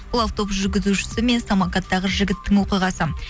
бұл автобус жүргізушісі мен самокаттағы жігіттің оқиғасы